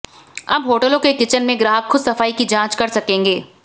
अब होटलों के किचन में ग्राहक खुद सफाई की जांच कर सकेंगे